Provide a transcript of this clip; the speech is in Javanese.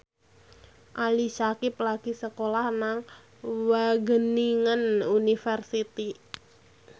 Ali Syakieb lagi sekolah nang Wageningen University